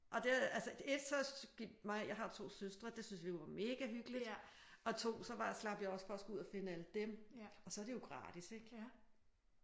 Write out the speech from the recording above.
Og det altså 1 så gik mig jeg har 2 søstre. Det synes vi var mega hyggeligt og 2 så slap jeg også for at skulle ud og finde alle dem. Og så er det jo gratis ik